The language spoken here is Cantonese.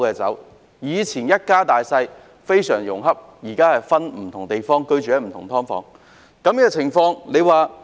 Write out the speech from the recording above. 從前一家大小非常融洽，現在卻分居不同地方，更有家人入住"劏房"。